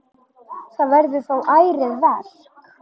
Það verður þó ærið verk.